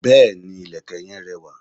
Béèni, ìlẹ̀kẹ̀ yen rẹwà.